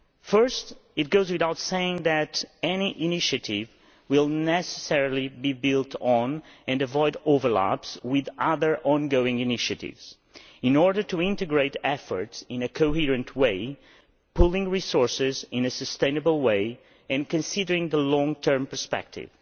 Firstly, it goes without saying that any initiative will necessarily be built on and avoid overlaps with other ongoing initiatives in order to integrate efforts in a coherent way, to pool resources in a sustainable way and to take account of the long term perspective.